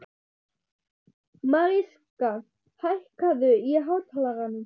Mariska, hækkaðu í hátalaranum.